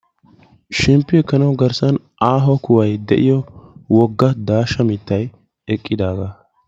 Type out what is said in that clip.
Shemppiyo ekkanawu aaho kuhay de'iyo aaho mittay eqqidaaga.